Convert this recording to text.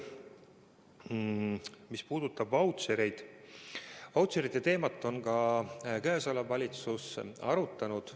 Mis puudutab vautšereid, siis seda teemat on praegune valitsus arutanud.